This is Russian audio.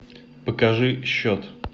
покажи счет